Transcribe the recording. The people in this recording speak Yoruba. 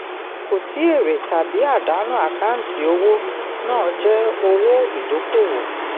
kò sí èrè tàbí àdánù àkáǹtì owó náà jẹ́ owó ìdókòwò.